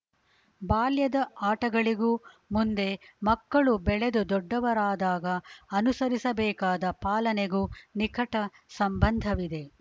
ಬಾಲ್ಯದ ಆಟಗಳಿಗೂ ಮುಂದೆ ಮಕ್ಕಳು ಬೆಳೆದು ದೊಡ್ಡವರಾದಾಗ ಅನುಸರಿಸಬೇಕಾದ ಪಾಲನೆಗೂ ನಿಕಟ ಸಂಬಂಧವಿದೆ